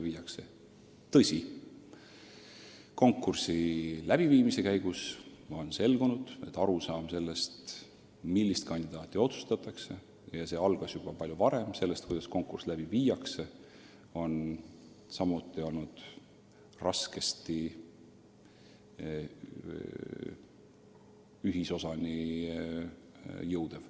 Paraku on konkursi läbiviimise käigus selgunud, et arusaamas sellest, millist kandidaati otsitakse – see kõik algas juba palju varem – ja kuidas konkurss läbi viia, on samuti olnud raske ühisosani jõuda.